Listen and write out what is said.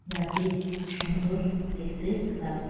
যাতে খুব সুন্দর দেখতে লগু --